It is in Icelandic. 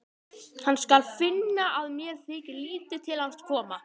Hann skal finna að mér þykir lítið til hans koma.